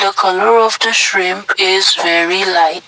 the colour of the shrimp is navy light.